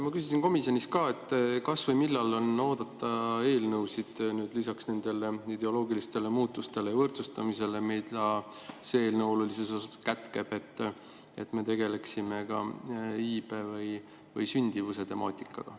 Ma küsisin komisjonis ka, kas või millal on oodata eelnõusid lisaks nendele ideoloogilistele muutustele ja võrdsustamisele, mida see eelnõu olulises osas kätkeb, et me tegeleksime iibe või sündimuse temaatikaga.